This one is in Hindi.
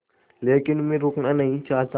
लेकिन मैं रुकना नहीं चाहता